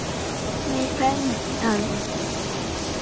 Við kveðjum þig, afi minn.